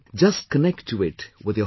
Just connect to it with your heart